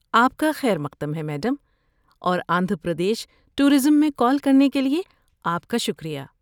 آپ کا خیرمقدم ہے میڈم اور آندھرا پردیش ٹورازم میں کال کرنے کے لیے آپ کا شکریہ۔